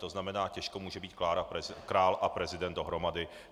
To znamená těžko může být král a prezident dohromady.